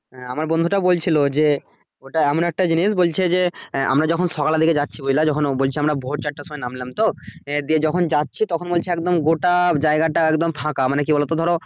আমার বন্ধু টা বলছিলো যে ওটা এমন একটা জিনিস বলছে যে আহ আমরা যখন সকালের দিকে যাচ্ছি বুঝলা যখন ও বলছে আমরা ভোর চারটার সময় নামলাম তো হ্যা দিয়ে যখন যাচ্ছি তখন বলছে একদম গোটা জায়গা টা একদম ফাঁকা মানে কি বলো ধরো